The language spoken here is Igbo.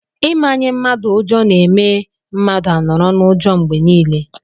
Ị manye mmadụ ụjọ na-eme mmadụ a nọrọ n'ụjọ mgbe niile.